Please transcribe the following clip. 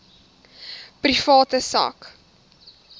private sak